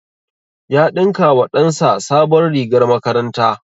Ya ɗinka wa ɗan sa sabon rigar makaranta